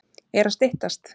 Er að styttast?